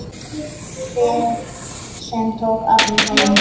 Ferð sem tók allan daginn.